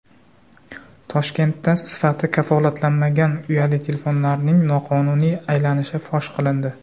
Toshkentda sifati kafolatlanmagan uyali telefonlarning noqonuniy aylanishi fosh qilindi.